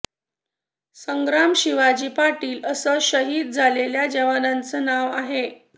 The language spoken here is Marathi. संग्राम शिवाजी पाटील असं शहिद झालेल्या जवानाचं नाव आहे